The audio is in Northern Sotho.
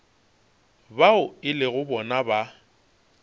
bao e lego bona ba